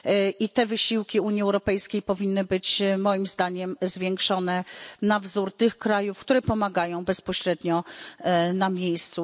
I te wysiłki Unii Europejskiej powinny być, moim zdaniem, zwiększone na wzór tych krajów, które pomagają bezpośrednio na miejscu.